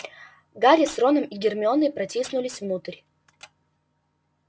гарри с роном и гермионой протиснулись внутрь